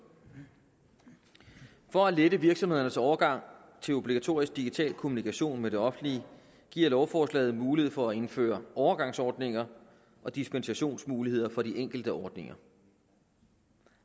for at lette virksomhedernes overgang til obligatorisk digital kommunikation med det offentlige giver lovforslaget mulighed for at indføre overgangsordninger og dispensationsmuligheder for de enkelte ordninger